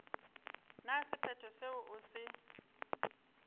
na sephetho seo o se